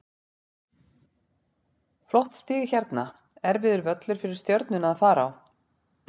Flott stig hérna, erfiður völlur fyrir Stjörnuna að fara á.